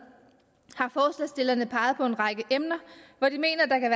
har på en række emner hvor de mener at der kan